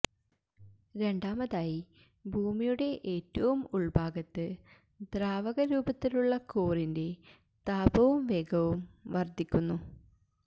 രണ്ടാമതായി ഭൂമിയുടെ ഏറ്റവും ഉള്ഭാഗത്ത് ദ്രാവക രൂപത്തിലുള്ള കോറിന്റെ താപവും വേഗവും വര്ധിക്കുന്നു